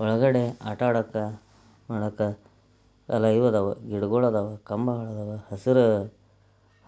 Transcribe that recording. ಹೊರಗಡೆ ಆಟ ಆಡಕ್ಕೆ ನೋಡಾಕ ಯಲ್ಲಾ ಇವ ಅದಾವ ಗಿಡಂಗೊಳ್ ಅದಾವ ಕಂಬಗಳ ಅದಾವ. ಹಸಿರ